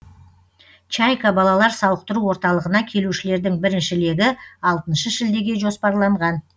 чайка балалар сауықтыру орталығына келушілердің бірінші легі алтыншы шілдеге жоспарланған